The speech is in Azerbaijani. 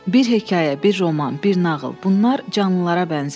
Bir hekayə, bir roman, bir nağıl, bunlar canlılara bənzəyir.